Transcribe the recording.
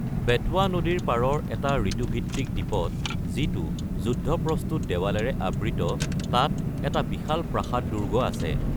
বেটৱা নদীৰ পাৰৰ এটা ঋতুভিত্তিক দ্বীপত, যিটো ৰণসজ্জিত দেৱালেৰে আগুৰি আছে, তাত এটা বিশাল প্ৰাসাদ-দুৰ্গ আছে।